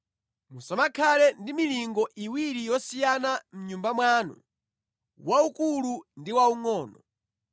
Musamakhale ndi milingo iwiri yosiyana mʼnyumba mwanu, waukulu ndi waungʼono.